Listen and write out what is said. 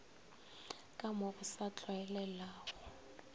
ka mo go sa tlwaelegago